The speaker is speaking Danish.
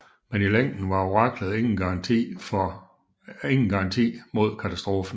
Men i længden var oraklet ingen garanti mod katastrofen